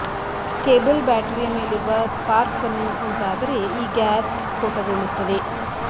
cable ಬ್ಯಾಟರಿಯ ಮೇಲಿರುವ spark ಅನ್ನು ಉಂಟಾದರೆ ಈ ಗ್ಯಾಸ್ ಸ್ಫೋಟಗೊಳ್ಳುತ್ತದೆ